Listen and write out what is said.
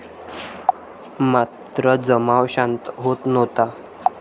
मात्र जमाव शांत होत नव्हता.